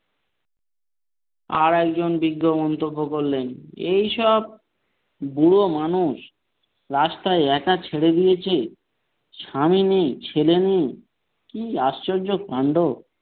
আর একজন বৃদ্ধ মন্তব্য করলেন এইসব বুড়ো মানুষ রাস্তায় একা ছেড়ে দিয়েছে স্বামী নেই ছেলে নেই কী আশ্চর্য কান্ড।